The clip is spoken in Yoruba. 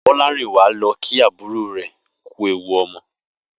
Bó̩lárìnwá lo̩ kí àbúrò rè̩ kú ewu o̩mo̩